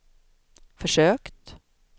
försökt